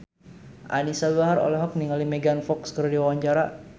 Anisa Bahar olohok ningali Megan Fox keur diwawancara